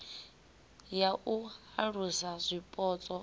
ya u alusa zwipotso i